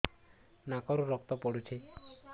ନାକରୁ ରକ୍ତ ପଡୁଛି